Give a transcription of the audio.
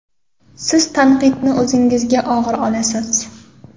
Siz tanqidni o‘zingizga og‘ir olasiz.